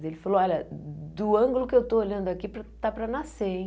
Daí ele falou, olha, do ângulo que eu estou olhando aqui, está para nascer, hein?